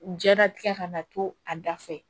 Jɛnatigɛ kana to a da fɛ